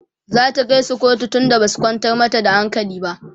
zata kaisu kotu tunda Basu kwantar mata da hankali ba?